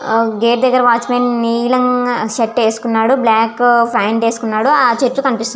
ఆ గేట్ దగ్గర వాత్చ్మన్ నీలం షర్టు వేసుఇకునాడు బ్లాకు పాంట్ వేసుకునాడు ఆ చెట్టు కన్పిస్తుంది.